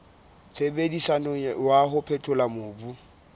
sebediswang wa ho phethola mobu